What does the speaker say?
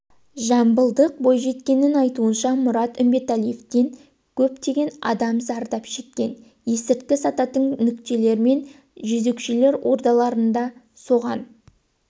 жамбылдық бойжеткеннің айтуынша мұрат үмбетәлиевтен көптеген адам зардап шеккен есірткі сататын нүктелер мен жезөкшелер ордаларыда соған